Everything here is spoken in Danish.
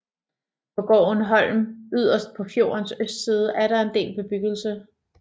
På gården Holm yderst på fjordens østside er der en del bebyggelse